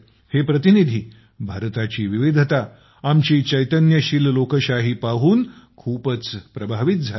हे प्रतिनिधी भारताची विविधता आपली चैतन्यशील लोकशाही पाहून खूपच प्रभावित झाले